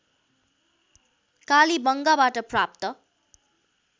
कालीबंगाबाट प्राप्त